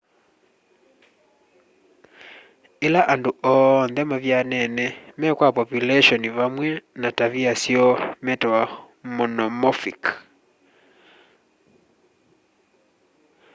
ila andu oonthe mavyanene me kwa populeshoni vamwe na tavia syoo metawa monomorphic